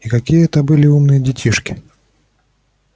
и какие это были умные детишки